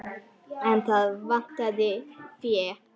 En þá vantaði fé.